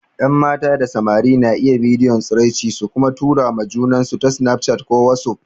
Yan mata da samari na iya bidiyon tsiraici su kuma tura ma junansu ta snaf chat ko wasuf.